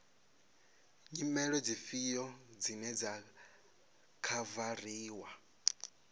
nyimele dzifhio dzine dza khavariwa